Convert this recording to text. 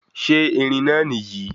Ṣe irin náà nìyí